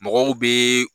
Mɔgɔw bi